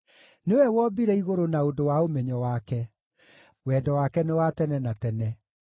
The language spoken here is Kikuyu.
nĩwe wombire igũrũ na ũndũ wa ũmenyo wake, Wendo wake nĩ wa tene na tene.